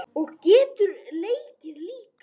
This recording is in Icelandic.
Og getur leikið líka.